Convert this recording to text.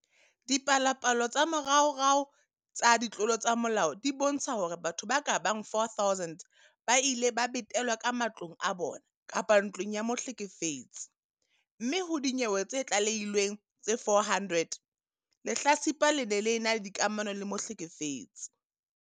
Dipalopalo tsa moraorao tsa ditlolo tsa molao di bontsha hore batho ba ka bang 4 000 ba ile ba betelwa ka matlong a bona kapa ntlong ya mohlekefetsi, mme ho dinyewe tse tlalehilweng tse 400, lehlatsipa le ne le ena le dikamano le mohlekefetsi.